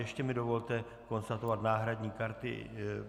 Ještě mi dovolte konstatovat náhradní karty.